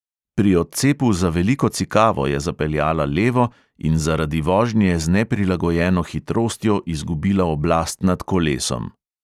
Pri odcepu za veliko cikavo je zapeljala levo in zaradi vožnje z neprilagojeno hitrostjo izgubila oblast nad kolesom.